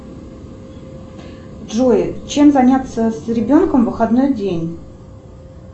джой чем заняться с ребенком в выходной день